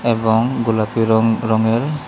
এবং গোলাপী রং রঙের--